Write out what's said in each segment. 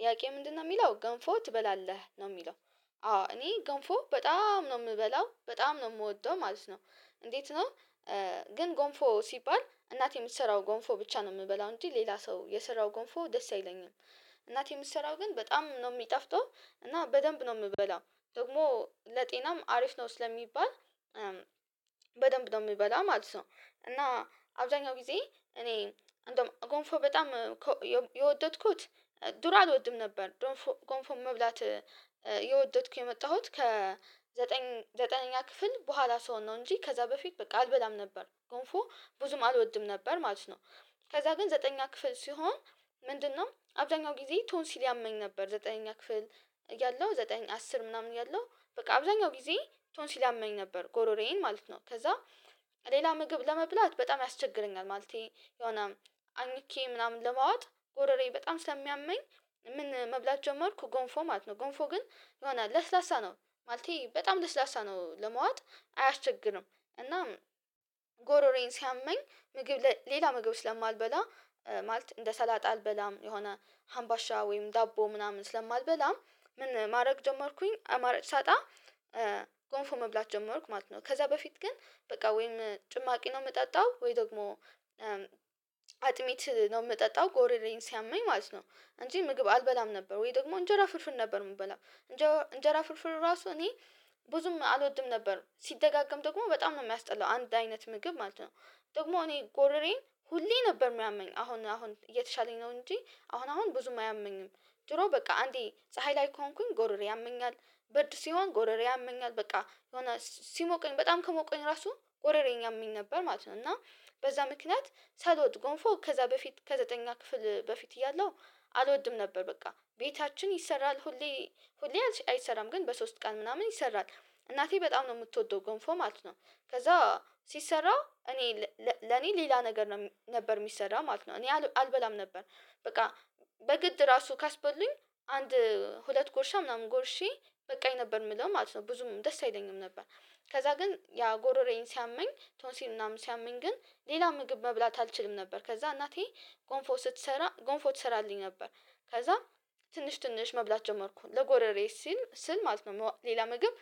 ጥያቄ ምንድነው የሚለው ገንፎ ትበላለህ ነው የሚለው? አዎ እኔ ገንፎ በጣም ነው የምበላው በጣም ነው የምወደው ማለት ነው። እንዴት ነው? ግን ጎንፎ ሲባል እናቴ የምትሰራው ጎንፎ ብቻ ነው የምበላው እንጂ ሌላ ሰው የሰራው ጎንፎ ደስ አይለኝም። እናት የምትሰራው ግን በጣም ነው የሚጣፍተው እና በደንብ ነው የምበላው ደግሞ ለጤናም አሪፍ ነው ስለሚባል። በደንብ ነው የምበላው ማለት ነው። እና አብዛኛው ጊዜ እኔ እንደውም ጎንፎ በጣም የወደድኩት ዱሮ አልወድም ነበር። ጎንፎ መብላት የወደድኩት የመጣሁት ከ ዘጠኝ ዘጠነኛ ክፍል በኋላ ስሆን ነው እንጂ ከዛ በፊት በቃ አልበላም ነበር ጎንፎ ብዙም አልወድም ነበር ማለት ነው። ከዛ ግን ዘጠነኛ ክፍል ስሆን ምንድነው አብዳኛው ጊዜ ቶን ሲል ያመኝ ነበር ዘጠነኛ ክፍል እያለሁ ዘጠነኛ አስር ምናምን እያለሁ በቃ አብዛኛው ጊዜ ቶንሲሊ አመኝ ነበር ጎሮሬዬን ማለት ነው። ከዛ ሌላ ምግብ ለመብላት በጣም ያስቸግረኛል ማለቴ የሆነ አኝኬ ምናምን ለማዋጥ ጎረሬ በጣም ሰሚያመኝ ምን መብላት ጀመርኩ ጎንፎ ማለት ነው። ጎንፎ ግን የሆነ ለስላሳ ነው ማለቴ በጣም ለስላሳ ነው ለመዋጥ አያስቸግርም። እና ጎሮሬን ሲያመኝ ምግብ ሌላ ምግብ ስለማልበላ ማለት እንደ ሰላጥ አልበላም የሆነ ሀምባሻ ወይም ዳቦ ምናምን ስለማልበላ ምን ማድረግ ጀመርኩኝ አማራጭ ሳጣ ጎንፎ መብላት ጀመርኩ ማለት ነው። ከዛ በፊት ግን በቃ ወይም ጭማቂ ነው የምጠጣው ወይ ደግሞ አጥሚት ነው የምጠጣው ጎረሬን ሲያመኝ ማለት ነው። እንጂ ምግብ አልበላም ነበር ወይ ደግሞ እንጀራ ፍርፍር ነበር የምበላው እንጀራ ፍርፍር ራሱ እኔ ብዙም አልወድም ነበር ሲደጋገም ደግሞ በጣም ነው የሚያስጠላው አንድ አይነት ምግብ ማለት ነው። ደግሞ እኔ ጎረሬን ሁሌ ነበር የሚያመኝ አሁን አሁን እየተሻለኝ ነው እንጂ አሁን አሁን ብዙም አያመኝም። ድሮ በቃ አንዴ ፀሀይ ላይ ከሆንኩኝ ጎረሬ ያመኛል ብርድ ሲሆን ጎረሬ ያመኛል በቃ የሆነ ሲሞቀኝ በጣም ከሞቀኝ ራሱ ጎረሬን ያመኝ ነበር ማለት ነው። እና በዛ ምክንያት ሳልወድ ጎንፎ ከዛ በፊት ከዘጠነኛ ክፍል በፊት እያለው አልወድም ነበር በቃ ቤታችን ይሰራል። ሁሌ ሁሌ አይሰራም ግን በሶስት ቀን ምናምን ይሰራል እናቴ በጣም ነው የምትወደው ጎንፎ ማለት ነው። ከዛ ሲሰራ እኔ ለኔ ሌላ ነገር ነበር የሚሰራ ማለት ነው እኔ አልበላም ነበር በቃ በግድ ራሱ ካስበሉኝ አንድ ሁለት ጉርሻ ምናምን ጎርሼ በቃኝ ነበር የምለው ማለት ነው ብዙም ደስ አይለኝም ነበር። ከዛ ግን ያ ጎሮሬን ሲያመኝ ቶንሲን ምናምን ሲያመኝ ግን ሌላ ምግብ መብላት አልችልም ነበር ከዛ እናቴ ጎንፎ ስትሰራ ጎንፎ ትሰራልኝ ነበር። ከዛ ትንሽ ትንሽ መብላት ጀመርኩኝ ለጎረሬ ሲል ስል ማለት ነው ሌላ ምግብ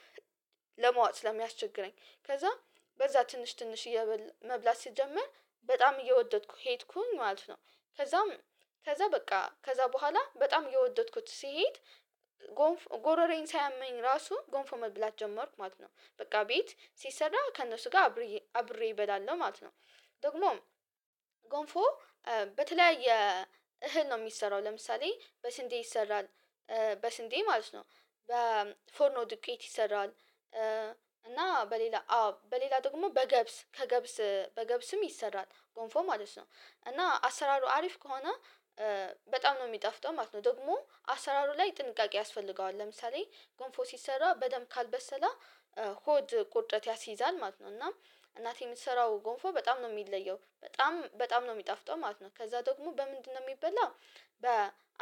ለመዋጥ ስለሚያስቸግረኝ ከዛ በዛ ትንሽ ትንሽ መብላት ሲጀመር በጣም እየወደድኩ ሄድኩኝ ማለት ነው። ከዛም ከዛ በቃ ከዛ በኋላ በጣም እየወደድኩት ስሄድ ጎንፍ ጎረሬኝ ሳያመኝ ራሱ ጎንፎ መብላት ጀመርኩ ማለት ነው በቃ ቤት ሲሰራ ከእነሱ ጋር አብሬ አብሬ እበላለሁ ማለት ነው። ደግሞም ጎንፎ በተለያየ እህል ነው የሚሰራው ለምሳሌ በስንዴ ይሰራል በስንዴ ማለት ነው በፎርኖ ዱቄት ይሰራል እና በሌላ በሌላ ደግሞ በገብስ ከገብስ በገብስም ይሰራል ጎንፎ ማለት ነው። እና አሰራሩ አሪፍ ከሆነ በጣም ነው የሚጣፍጠው ማለት ነው ደግሞ አሰራሩ ላይ ጥንቃቄ ያስፈልገዋል ለምሳሌ ጎንፎ ሲሰራ በደንብ ካልበሰለ ሆድ ቁርጠት ያስይዛል ማለት ነው። እና እናቴ የምትሰራው ጎንፎ በጣም ነው የሚለየው በጣም በጣም ነው የሚጣፍጠው ማለት ነው። ከዛ ደግሞ በምንድነው የሚበላው በ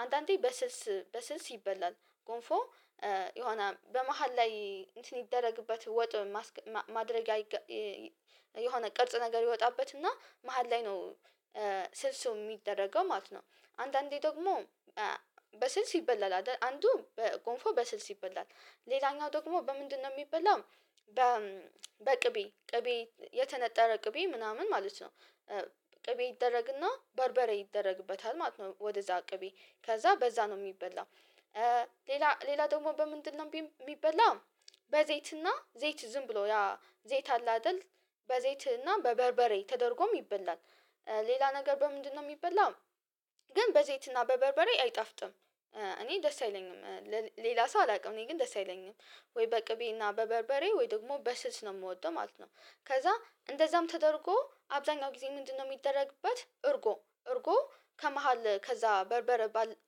አንዳንዴ በስልስ በስልስ ይበላል። ጎንፎ የሆነ በመሃል ላይ እንትን ይደረግበት ወጥ ማድረግያ የሆነ ቅርጽ ነገር ይወጣበት እና መሃል ላይ ነው ስልሱ የሚደረገው ማለት ነው። አንዳንዴ ደግሞ በስልስ ይበላል አይደ አንዱ በጎንፎ በስልስ ይበላል ሌላኛው ደግሞ በምንድነው የሚበላው በ በቅቤ ቅቤ የተነጠረ ቅቤ ምናምን ማለት ነው ቅቤ ይደረግና በርበሬ ይደረግበታል ማለት ነው። ወደዛ ቅቤ ከዛ በዛ ነው የሚበላው። ሌላ ሌላ ደግሞ በምንድነው የሚበላው? በዘይትና ዘይት ዝም ብሎ ያ ዘይት አለ አይደል በዘይትና በበርበሬ ተደርጎም ይበላል። ሌላ ነገር በምንድነው የሚበላው ግን በዘይትና በበርበሬ አይጣፍጥም እኔ ደስ አይለኝም። ሌላ ሰው አላውቅም እኔ ግን ደስ አይለኝም። ወይ በቅቤና በበርበሬ ወይ ደግሞ በስልስ ነው የምወደው ማለት ነው። ከዛ እንደዛም ተደርጎ አብዛኛው ጊዜ ምንድነው የሚደረግበት እርጎ እርጎ ከመሃል ከዛ በርበረ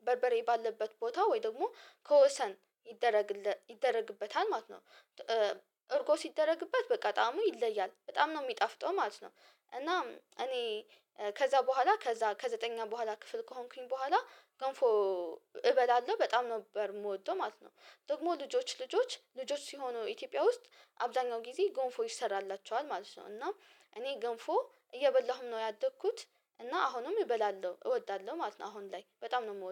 በርበሬ ባለበት ቦታ ወይ ደግሞ ከወሰን ይደረግለት ይደረግበታል ማለት ነው። እርጎ ሲደረግበት በቃ ጣዕሙ ይለያል በጣም ነው የሚጣፍጠው ማለት ነው። እና እኔ ከዛ በኋላ ከዛ ከዘጠነኛ በኋላ ክፍል ከሆንኩኝ በኋላ ገንፎ እበላለሁ በጣም ነበር የምወደው ማለት ነው። ደግሞ ልጆች ልጆች ልጆች ሲሆኑ ኢትዮጵያ ውስጥ አብዛኛው ጊዜ ጎንፎ ይሰራላቸኋል ማለት ነው። እና እኔ ጎንፎ እየበላሁም ነው ያደግኩት። እና አሁንም እበላለሁ እወዳለሁ ማለት ነው። አሁን ላይ በጣም ነው የምወደው